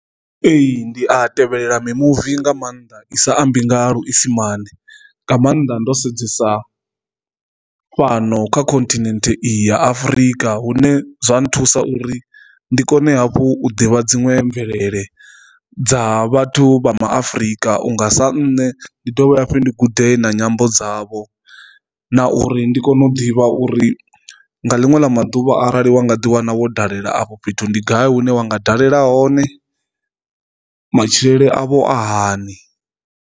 Ee, ndi a tevhelela mimuvi nga maanḓa i sa ambi nga luisimane nga maanḓa ndo sedzesa fhano kha continent iyi ya Afurika hune zwa nthusa uri ndi kone hafhu u ḓivha dziṅwe mvelele dza vhathu vha maAfurika unga sa nne ndi dovhe hafhu ndi gude na nyambo dzavho, na uri ndi kone u ḓivha uri nga linwe ḽa maduvha arali wa nga ḓi wana wo dalela afho fhethu ndi gai hune wa nga dalela hone matshilele avho a hani.